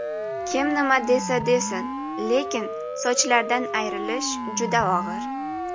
Kim nima desa desin, lekin sochlardan ayrilish juda og‘ir.